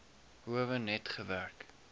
howe net gewerk